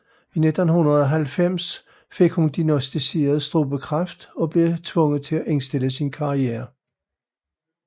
I 1990 fik hun diagnosticeret strubekræft og blev tvunget til at indstille sin karriere